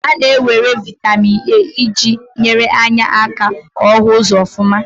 A na-ewere vitamin A iji nyere anya aka ko ohu uzo ofuma.